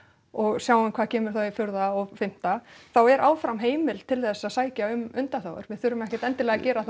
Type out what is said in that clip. og sjáum hvað kemur þá í fjórða og fimmta þá er áfram heimild til þess að sækja um undanþágur við þurfum ekkert endilega að gera það